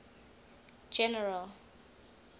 general